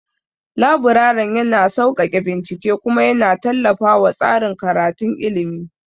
Laburaren yana sauƙaƙe bincike kuma yana tallafawa tsarin karatun ilimi.